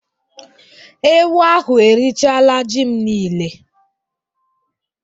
Ewu ahụ erichaala ji m niile